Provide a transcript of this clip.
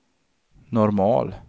normal